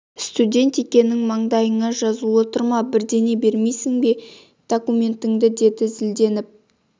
студент екенің маңдайыңда жазулы тұр ма бірден бермейсің бе документіңді деді зілденіп